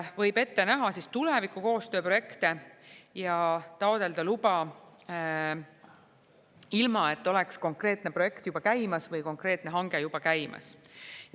Võib ette näha tuleviku koostööprojekte ja taotleda luba, ilma et oleks konkreetne projekt juba käimas või konkreetne hange juba käimas.